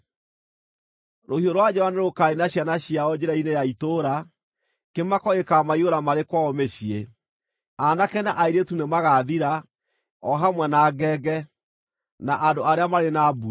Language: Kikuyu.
Rũhiũ rwa njora nĩrũkaniina ciana ciao njĩra-inĩ ya itũũra; kĩmako gĩkaamaiyũra marĩ kwao mĩciĩ. Aanake na airĩtu nĩmagathira, o hamwe na ngenge, na andũ arĩa marĩ na mbuĩ.